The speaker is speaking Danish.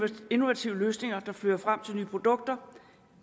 innovative løsninger der fører frem til nye produkter